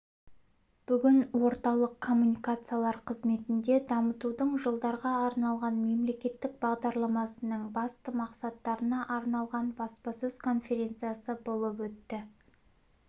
бүгін орталық коммуникациялар қызметінде дамытудың жылдарға арналған мемлекеттік бағдарламасының басты мақсаттарына арналған баспасөз конференциясы болып өтті